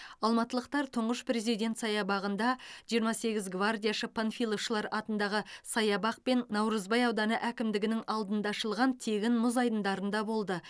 алматылықтар тұңғыш президент саябағында жиырма сегіз гвардияшы панфиловшылар атындағы саябақ пен наурызбай ауданы әкімдігінің алдында ашылған тегін мұз айдындарында болды